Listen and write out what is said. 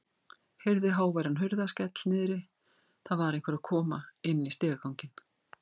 Heyrði háværan hurðarskell niðri, það var einhver að koma inn í stigaganginn.